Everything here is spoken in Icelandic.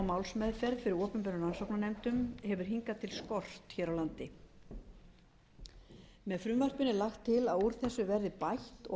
málsmeðferð fyrir opinberum rannsóknarnefndum hefur hingað til skort hér á landi með frumvarpinu er lagt til að úr þessu verði bætt og að